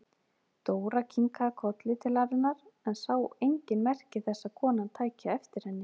Dóra kinkaði kolli til hennar en sá engin merki þess að konan tæki eftir henni.